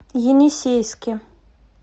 енисейске